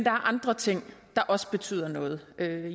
andre ting der også betyder noget